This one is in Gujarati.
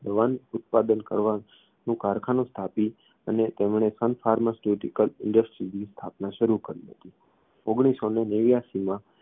દવાનું ઉત્પાદનનું કરવાનુ કારખાનું સ્થાપી અને તેમણે sun pharmaceutical industries ની સ્થાપના શરૂ કરી હતી ઓગણીસસોને નેવ્યાશીમાંં